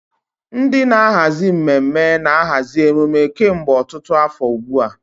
Ndị na-ahazi mmemme na-ahazi emume kemgbe ọtụtụ afọ ugbu a.